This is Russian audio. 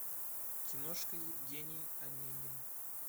киношка евгений онегин